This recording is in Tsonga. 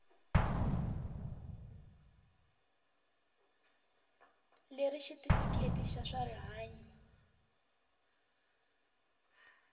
leri xitifiketi xa swa rihanyu